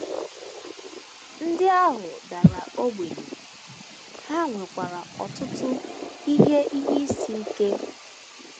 Ndị ahụ dara ogbenye, ha nwekwara ọtụtụ ihe ihe isi ike.